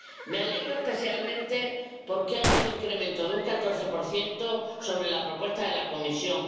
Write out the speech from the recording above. Me alegra especialmente porque hay un incremento de un 14 sobre la propuesta de la Comisión.